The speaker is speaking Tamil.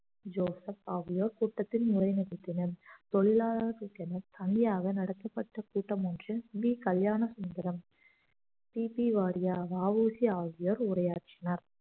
ஜோசப் ஆகியோர் கூட்டத்தில் உரை நிகழ்த்தினர் தொழிலாளர்களுக்கு என தனியாக நடத்தப்பட்ட கூட்டம் ஒன்றில் V Kalyanasundaram P P Wadia வ உ சி ஆகியோர் உரையாற்றினர்